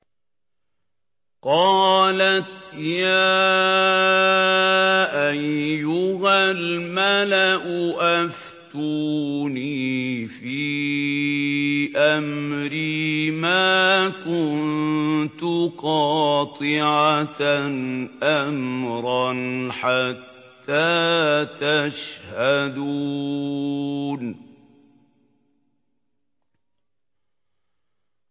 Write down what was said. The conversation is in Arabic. قَالَتْ يَا أَيُّهَا الْمَلَأُ أَفْتُونِي فِي أَمْرِي مَا كُنتُ قَاطِعَةً أَمْرًا حَتَّىٰ تَشْهَدُونِ